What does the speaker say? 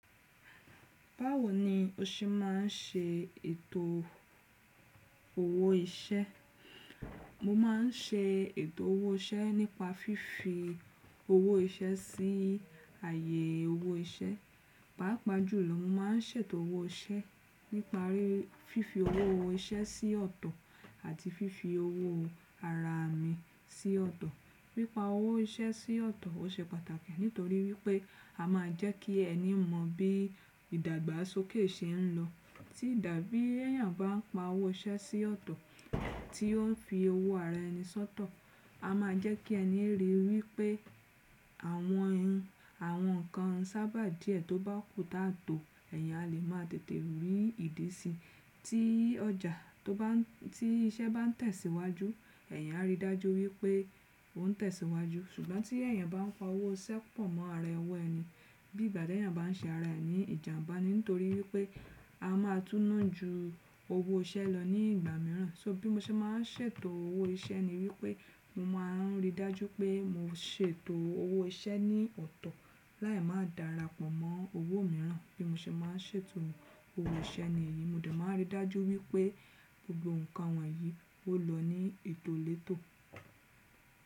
Báwo ni o ṣe má ń ṣe ètò owó iṣẹ́? Mo má ń ṣe ètò owó iṣẹ́ nípa fífi owó iṣẹ́ sí ààyè owó iṣẹ́. Páàpàá jùlọ, mo má ń ṣètò owó iṣẹ́ nípa fífi owó iṣẹ́ sí ọ̀tọ̀ àti fífi owó ara mi sí ọ̀tọ̀. Pípa owó iṣẹ́ sí ọ̀tọ̀, ó ṣe pàtàkì nítorí wípé a máa jẹ́ kí ẹni mọ bí ìdàgbàsókè ṣe ń lọ. Tí àbí èèyàn bá ń pa owó iṣẹ́ sí ọ̀tọ̀, tí ó ń fi owó ara ẹni sọ́tọ̀, a máa jẹ́ kí ẹni ríi wípé awon àwọn ǹkan sábà díẹ̀ tó bá kù táa tó, ẹ̀yàn a lè máa tètè rí ìdí sí, tí iṣẹ́ bá ń tẹ̀síwájú, ẹ̀yàn a rí i dájú wípé ó ń tẹ̀síwájú. Ṣùgbọ́n, tí èèyàn bá ń pa owó iṣẹ́ pọ̀ mọ́ ara owó ẹni, bí ìgbà ti eyan bá ń ṣe ara ẹni ìjàbá ni, nítorí wípé a máa túne ju owó iṣẹ́ lọ ní ìgbà mìíràn. So, bí mo ṣe má ń ṣètò owó iṣẹ́ ni wípé, mo má a ń rí i dájú pé mo ṣètò owó iṣẹ́ ní ọ̀tọ̀, láì má dàra pọ̀ mọ́ owó mìíràn. Bí mo ṣe má ń ṣètò owó iṣẹ́ ni èyí, mo de máa rí i dájú wípé gbogbo ǹkan wọ̀nyí ó lọ ní ètò létò.